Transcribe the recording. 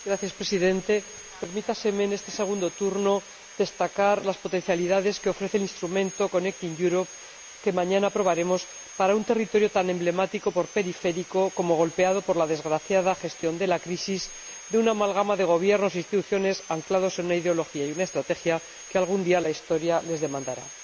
Señor Presidente, permítaseme en este segundo turno destacar las potencialidades que ofrece el instrumento Conectar Europa —que mañana aprobaremos— para un territorio tan emblemático por periférico como golpeado por la desgraciada gestión de la crisis de una amalgama de gobiernos e instituciones anclados en una ideología y una estrategia por las que algún día la historia les demandará.